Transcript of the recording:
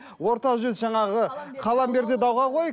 орта жүз жаңағы қалам бер де дауға қой